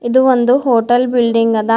ಇದು ಒಂದು hotel building ಅದ. ಅದ--